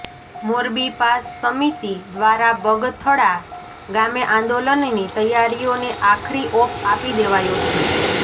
મોરબી પાસ સમિતિ દ્વારા બગથળા ગામે આંદોલનની તૈયારીઓને આખરી ઓપ આપી દેવાયો છે